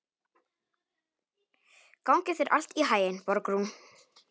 Gangi þér allt í haginn, Borgrún.